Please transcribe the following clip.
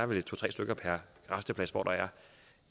vel to tre stykker per rasteplads hvor der